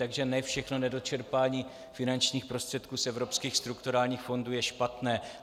Takže ne všechno nedočerpání finančních prostředků z evropských strukturálních fondů je špatné.